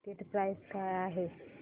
ticket price काय आहे